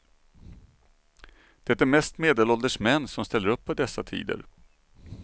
Det är mest medelålders män som ställer upp på dessa tider.